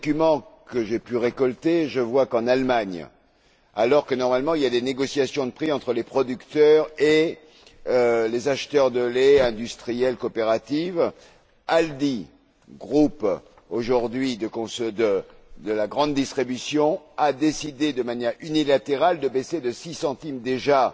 Dans les documents que j'ai pu récolter, je vois qu'en Allemagne, alors que normalement il y a des négociations de prix entre les producteurs et les acheteurs de lait, industriels, coopératives, Aldi aujourd'hui groupe de la grande distribution a décidé de manière unilatérale de baisser de 6 centimes, déjà,